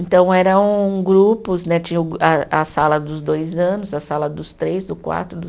Então, eram grupos né, tinha o a a sala dos dois anos, a sala dos três, do quatro do